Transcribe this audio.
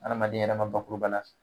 Adamaden yɛrɛ ma bakurubala